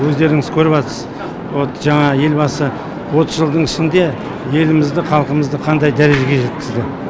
өздеріңіз көріватсыз вот жаңағы елбасы отыз жылдың ішінде елімізді халқымызды қандай дәрежеге жеткізді